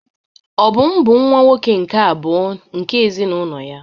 Obum bụ nwa-nwoke nke abụọ nke ezinụlọ ya.